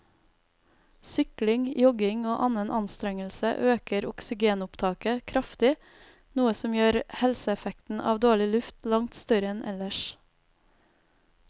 Sykling, jogging og annen anstrengelse øker oksygenopptaket kraftig, noe som gjør helseeffekten av dårlig luft langt større enn ellers.